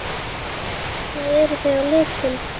Hvernig eru þau á litinn?